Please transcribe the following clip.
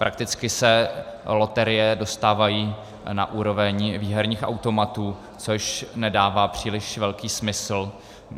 Prakticky se loterie dostávají na úroveň výherních automatů, což nedává příliš velký smysl.